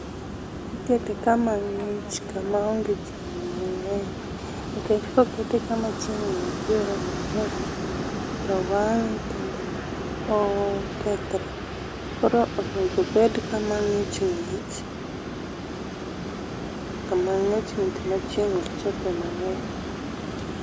Ikete kama ng'ich kama onge chieng mangeny nikech kokete kama chieng' nitiere mangeny to wange kendo okethre. Koro onego obed kama ng'ich ng'ich ,kama ng'ich ng'ich ma chieng' ok chope mangeny